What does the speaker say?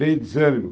Vem desânimo?